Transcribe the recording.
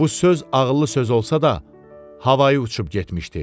Bu söz ağıllı söz olsa da, havayı uçub getmişdi.